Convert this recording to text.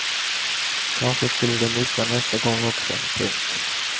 Kanske skulle de missa nästa gång också. punkt